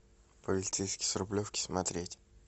полицейский с рублевки смотреть